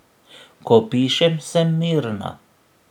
Ko pišem, sem mirna.